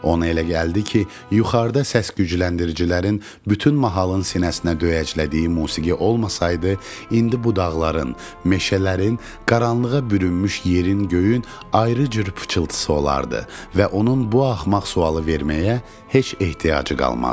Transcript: Ona elə gəldi ki, yuxarıda səs gücləndiricilərin bütün mahalın sinəsinə döyəclədiyi musiqi olmasaydı, indi bu dağların, meşələrin, qaranlığa bürünmüş yerin, göyün ayrı cür pıçıltısı olardı və onun bu axmaq sualı verməyə heç ehtiyacı qalmazdı.